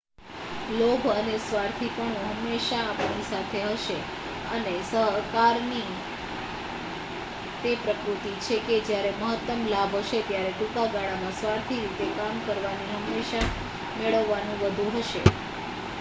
લોભ અને સ્વાર્થીપણું હંમેશા આપણી સાથે હશે અને સહકારની તે પ્રકૃત્તિ છે કે જ્યારે મહત્તમ લાભ હશે ત્યારે ટૂંકા ગાળામાં સ્વાર્થી રીતે કામ કરવાથી હંમેશા મેળવવાનું વધુ હશે